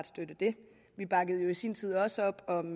støtte det vi bakkede jo i sin tid også op om